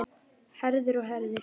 Herðir og herðir.